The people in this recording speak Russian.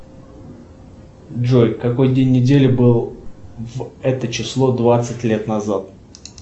джой какой день недели был в это число двадцать лет назад